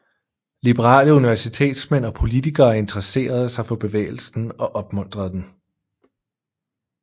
Liberale universitetsmænd og politikere intresserede sig for bevægelsen og opmuntrede den